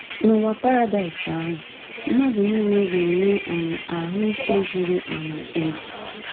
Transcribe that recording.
N’ụwa Paradaịs ahụ, mmadụ nile ga-enwe um ahụ ike zuru um ezu